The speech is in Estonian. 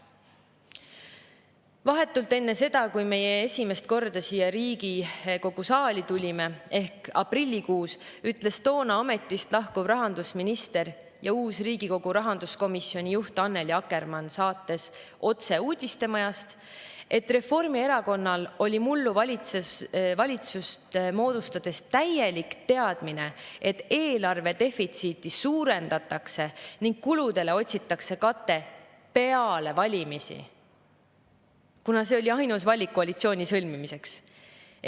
Vahetult enne seda, kui meie esimest korda siia Riigikogu saali tulime, ehk aprillikuus ütles toona ametist lahkuv rahandusminister ja uus Riigikogu rahanduskomisjoni juht Annely Akkermann saates "Otse uudistemajast", et Reformierakonnal oli mullu valitsust moodustades täielik teadmine, et eelarvedefitsiiti suurendatakse ning kuludele otsitakse katet peale valimisi, kuna see oli ainus valik koalitsiooni sõlmimiseks.